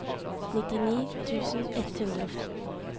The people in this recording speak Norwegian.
nittini tusen ett hundre og fem